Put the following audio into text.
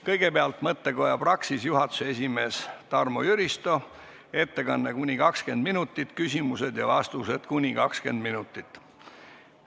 Kõigepealt on mõttekoja Praxis juhatuse esimees Tarmo Jüristo ettekanne kuni 20 minutit ja küsimused-vastused kuni 20 minutit.